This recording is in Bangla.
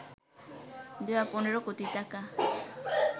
দেয়া ১৫ কোটি টাকা